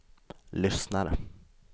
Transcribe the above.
lyssnar